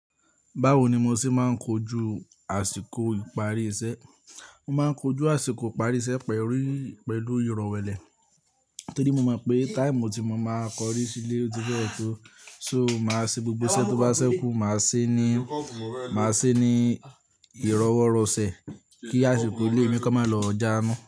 Báwo ni mo ṣe máa ń kojú àsìkò ìparí iṣẹ́? Mo máa ń kojú àsìkò ìparí iṣẹ́ pẹ̀lú, pẹ̀lú ìrọ̀wẹ́lẹ̀ torí mo mọ̀ pé táìmú tí mo máa kọrí sílé ó ti fẹ́ ṣó. So, màá ṣe gbogbo iṣẹ́ tó bá ṣẹ́kù, màá ṣé ní, màá ṣé ní ìrọ́wọ́rọ̀sẹ̀ kí àsìkò ilé mi kan máa lọ já nu.